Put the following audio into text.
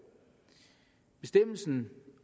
bestemmelsen